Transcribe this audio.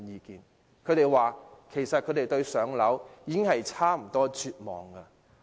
他們表示對"上車"已差不多絕望。